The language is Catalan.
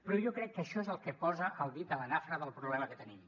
però jo crec que això és el que posa el dit a la nafra del problema que tenim